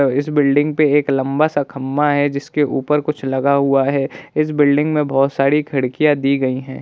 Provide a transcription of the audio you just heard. इस बिल्डिंग पे एक लंबा सा खंबा है जिसके ऊपर कुछ लगा हुआ है| इस बिल्डिंग में बहुत सारी खिड़कियां दी गई है।